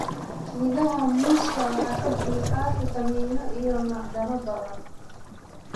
Midhaha muuska waxay ka buuxaan fiitamiinno iyo macdano badan.